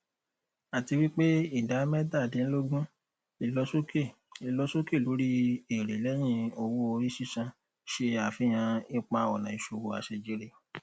àtiwípé ìdá métàdínlógún ìlọsókè ìlọsókè lórí èrè lẹhìn owóorí sísan ṣe àfihàn ipaọnà ìṣòwò àṣẹjèrè